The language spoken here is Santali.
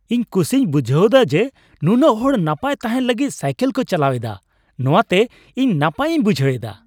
ᱤᱧ ᱠᱩᱥᱤᱧ ᱵᱩᱡᱷᱟᱹᱣ ᱫᱟ ᱡᱮ, ᱱᱩᱱᱟᱹᱜ ᱦᱚᱲ ᱱᱟᱯᱟᱭ ᱛᱟᱦᱮᱱ ᱞᱟᱹᱜᱤᱫ ᱥᱟᱭᱠᱤᱞ ᱠᱚ ᱪᱟᱞᱟᱣ ᱮᱫᱟ ᱾ ᱱᱚᱣᱟᱛᱮ ᱛᱮ ᱤᱧ ᱱᱟᱯᱟᱭ ᱤᱧ ᱵᱩᱡᱷᱟᱹᱣ ᱮᱫᱟ ᱾